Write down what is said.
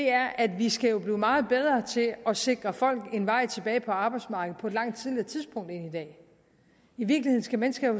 er at vi skal blive meget bedre til at sikre folk en vej tilbage på arbejdsmarkedet på et langt tidligere tidspunkt end i dag i virkeligheden skal mennesker